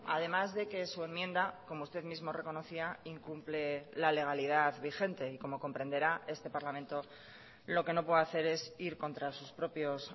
además de que su enmienda como usted mismo reconocía incumple la legalidad vigente y como comprenderá este parlamento lo que no puede hacer es ir contra sus propios